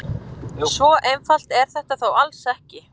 Svo einfalt er þetta þó alls ekki.